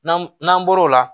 N'an n'an bɔr'o la